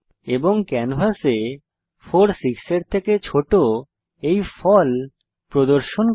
এবং ক্যানভাসে 4 6 এর থেকে ছোট এই ফল প্রদর্শন করে